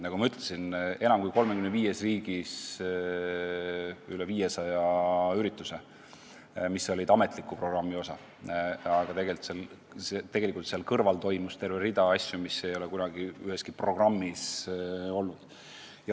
Nagu ma ütlesin, enam kui 35 riigis korraldati üle 500 ürituse, mis olid ametliku programmi osa, aga tegelikult oli veel terve rida ettevõtmisi, mis ei ole kunagi üheski programmis olnud.